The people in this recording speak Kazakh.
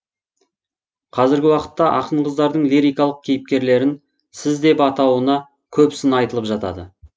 қазіргі уақытта ақын қыздардың лирикалық кейіпкерлерін сіз деп атауына көп сын айтылып жатады